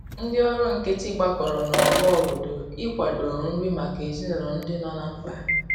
Ndi ọrụ nkiti gbakọrọ na ogbo obodo ị kwado nri maka ezinulo ndi nọ na mkpa